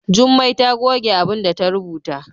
Jummai ta goge abinda ta rubuta.